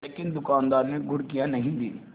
लेकिन दुकानदार ने घुड़कियाँ नहीं दीं